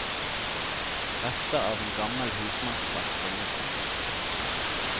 Rester av en gammel husmannsplass finnes også.